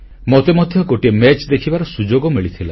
ମୋତେ ମଧ୍ୟ ଗୋଟିଏ ମ୍ୟାଚ୍ ଦେଖିବାର ସୁଯୋଗ ମିଳିଥିଲା